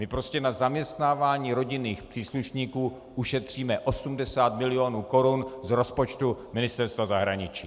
My prostě na zaměstnávání rodinných příslušníků ušetříme 80 mil. korun z rozpočtu Ministerstva zahraničí.